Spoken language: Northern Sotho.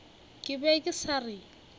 ke be ke sa re